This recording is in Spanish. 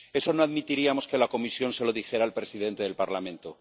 Eso no admitiríamos que la Comisión se lo dijera al presidente del Parlamento.